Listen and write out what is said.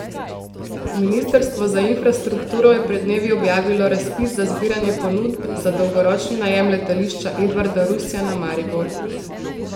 Ministrstvo za infrastrukturo je pred dnevi objavilo razpis za zbiranje ponudb za dolgoročni najem Letališča Edvarda Rusjana Maribor.